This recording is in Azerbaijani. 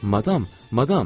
Madam, madam!